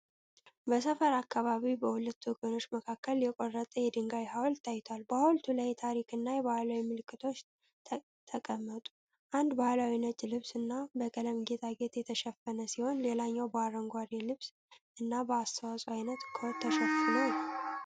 በሰፈር አካባቢ በሁለት ወገኖች መካከል የቆረጠ የድንጋይ ሐውልት ታይቷል። በሐውልቱ ላይ የታሪክ እና የባህል ምልክቶች ተቀመጡ። አንዱ በባህላዊ ነጭ ልብስ እና በቀለም ጌጣጌጥ የተሸፈነ ሲሆን፣ ሌላው በአረንጓዴ ልብስ እና በአስተዋፅኦ አይነት ኮት ተሸፍኖ ነው።